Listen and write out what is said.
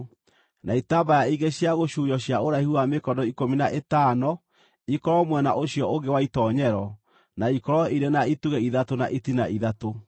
na itambaya ingĩ cia gũcuurio cia ũraihu wa mĩkono ikũmi na ĩtano ikorwo mwena ũcio ũngĩ wa itoonyero, na ikorwo irĩ na itugĩ ithatũ na itina ithatũ.